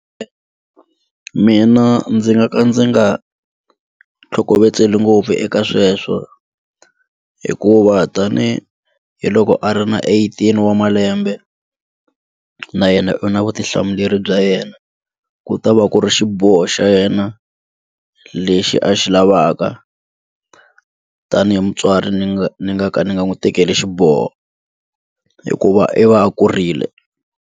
Mina ndzi nga ka ndzi nga tlhokovetseli ngopfu eka sweswo hikuva tanihiloko a ri na eighteen wa malembe na yena u na vutihlamuleri bya yena ku ta va ku ri xiboho xa yena lexi a xi lavaka tanihi mutswari ni nga ni nga ka ni nga n'wi tekeli xiboho hikuva i va a kurile.